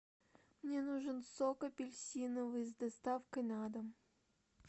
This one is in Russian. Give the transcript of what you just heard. мне нужен сок апельсиновый с доставкой на дом